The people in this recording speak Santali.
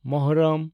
ᱢᱩᱦᱚᱨᱨᱚᱢ (ᱟᱥᱩᱨᱟ)